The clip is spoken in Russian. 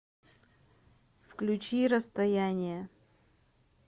включи расстояние